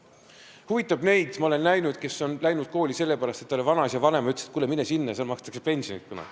See huvitab neid – ma olen neid näinud –, kes on tulnud kooli sellepärast, et talle vanaisa või vanaema ütlesid, et kuule, mine sinna, seal makstakse kunagi head pensioni.